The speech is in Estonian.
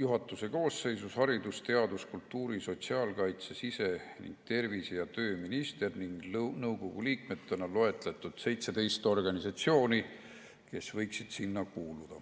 juhatuse koosseisus haridus‑ ja teadus‑, kultuuri‑, sotsiaalkaitse‑, sise‑ ning tervise‑ ja tööminister ning nõukogu liikmetena on loetletud 17 organisatsiooni, kes võiksid sinna kuuluda.